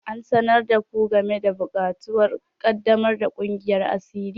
An sanar da ku game da buƙatun ƙaddamar da kungiyar asiri?